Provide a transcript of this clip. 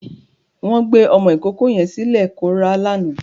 Bẹ́ẹ̀ni, wọ́n gbé ọmọ ìkókó yẹn sílẹ̀ kó rá lánàá.